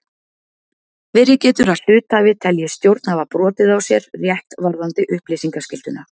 Verið getur að hluthafi telji stjórn hafa brotið á sér rétt varðandi upplýsingaskylduna.